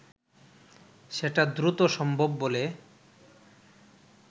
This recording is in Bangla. সেটা দ্রুত সম্ভব বলে